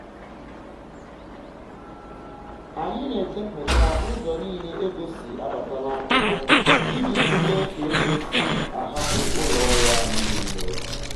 anyị na-edepụta ụzọ nile ego si abata n'akwụkwọ iji tulue ka ego si a hapụ ụlọ ọrụ anyi nile